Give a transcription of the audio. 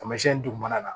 Taamasiyɛn dugumana na